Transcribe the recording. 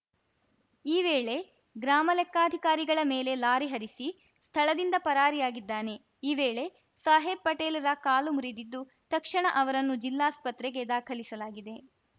ಈ ವೇಳೆ ಗ್ರಾಮಲೆಕ್ಕಾಧಿಕಾರಿಗಳ ಮೇಲೆ ಲಾರಿ ಹರಿಸಿ ಸ್ಥಳದಿಂದ ಪರಾರಿಯಾಗಿದ್ದಾನೆ ಈ ವೇಳೆ ಸಾಹೇಬ್‌ ಪಟೇಲ್‌ರ ಕಾಲು ಮುರಿದಿದ್ದು ತಕ್ಷಣ ಅವರನ್ನು ಜಿಲ್ಲಾಸ್ಪತ್ರೆಗೆ ದಾಖಲಿಸಲಾಗಿದೆ